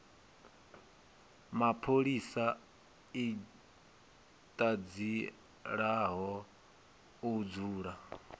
mapholisa i ṱanzielaho u dzula